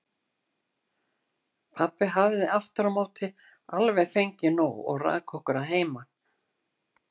Pabbi hafði aftur á móti fengið alveg nóg og rak okkur að heiman.